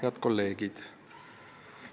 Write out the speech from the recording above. Head kolleegid!